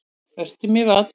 Vertu mér vænn.